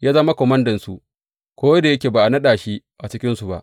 Ya zama komandansu, ko da yake ba a haɗa shi a cikinsu ba.